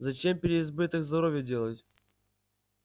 зачем переизбыток здоровья делать